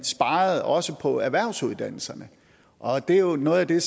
også sparede på erhvervsuddannelserne og det er jo noget af det